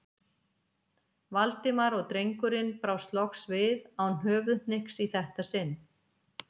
Valdimar og drengurinn brást loks við, án höfuðhnykks í þetta sinn.